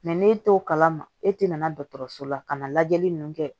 n'e t'o kalama e tɛ na dɔgɔtɔrɔso la ka na lajɛli ninnu kɛ